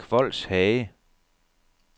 Kvols Hage